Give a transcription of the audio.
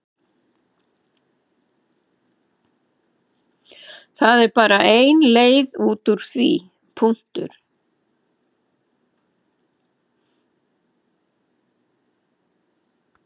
Það er bara ein leið úr því.